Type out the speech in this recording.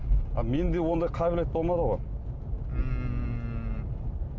а менде ондай қабілет болмады ғой ммм